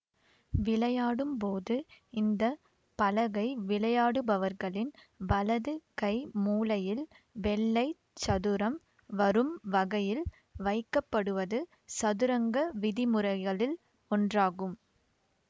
விளையாடும்போது இந்த பலகை விளையாடுபவர்களின் வலது கை மூலையில் வெள்ளைச் சதுரம் வரும் வகையில் வைக்கப்படுவது சதுரங்க விதிமுறைகளில் ஒன்றாகும்